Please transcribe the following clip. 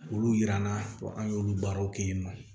Olu yiran na an y'olu baaraw kɛ yen nɔ